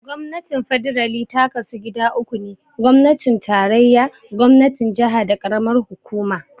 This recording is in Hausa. Gwamnatin Fedarali ta kasu gida uku ne, gwamnatin tarayya, gwamnatin jaha, da karamar hukuma.